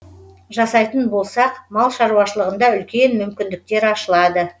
жасайтын болсақ мал шаруашылығында үлкен мүмкіндіктер ашылады